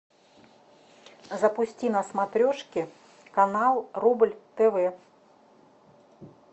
запусти на смотрешке канал рубль тв